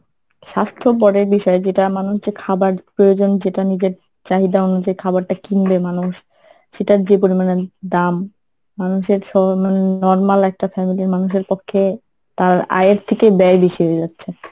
স্বাস্থ্য পরের বিষয় যেটা মানুষ যে খাবার প্রয়োজন যেটা নিজের চাহিদা অনুযায়ী খাবারটা কিনবে মানুষ সেটার যে পরিমানে দাম মানুষের সব নরমাল একটা family র মানুষের পক্ষে তার আয়ের থেকে ব্যায় বেশি হয়ে যাচ্ছে।